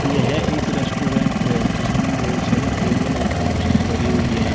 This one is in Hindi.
यह एक रेस्टोरेंट है जिसमें बहुत सारी टेबल और कुर्सियां धरी हुई हैं।